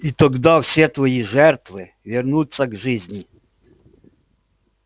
и тогда все твои жертвы вернутся к жизни